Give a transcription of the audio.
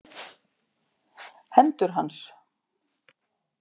Hendur hans.